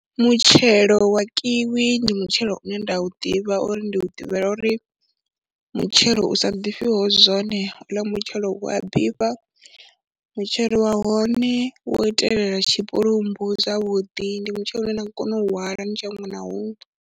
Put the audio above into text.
Mutshelo wa Kiwi ndi mutshelo une nda u ḓivha uri ndi ḓivhela uri mutshelo u sa ḓifhiho zwone, ho uḽa mutshelo u a ḓifha, mutshelo wa hone wo itelela tshipulumbu zwavhuḓi ndi mutshelo une nda nga kona u hwala u tshi ya huṅwe na huṅwe.